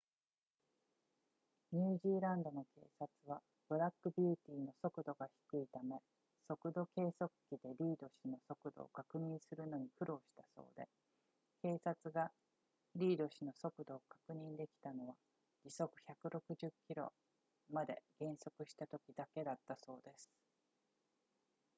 ニュージーランドの警察はブラックビューティーの速度が低いため速度計測器でリード氏の速度を確認するのに苦労したそうで警察がリード氏の速度を確認できたのは時速160 km まで減速したときだけだったそうです